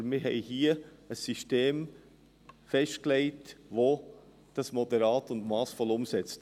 Aber wir haben hier ein System festgelegt, welches dies moderat und massvoll umsetzt.